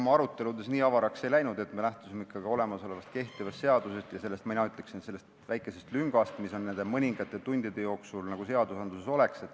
Meie arutelud nii avaraks ei läinud, me lähtusime ikkagi kehtivast seadusest ja mina ütleksin, et sellest väikesest lüngast, mis nende mõningate tundide kujul nagu seaduses oleks.